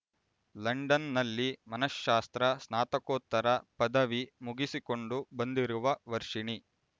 ಲಂಡನ್‌ನಲ್ಲಿ ಮನಃಶಾಸ್ತ್ರ ಸ್ನಾತಕೋತ್ತರ ಪದವಿ ಮುಗಿಸಿಕೊಂಡು ಬಂದಿರುವ ವರ್ಷಿಣಿ